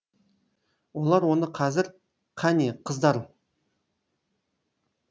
олар оны қазір қане қыздар